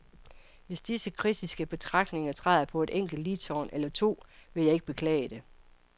Hvis disse kritiske betragtninger træder på en enkelt ligtorn eller to, vil jeg ikke beklage det.